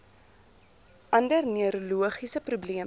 ander neurologiese probleme